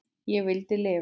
Ég vildi lifa.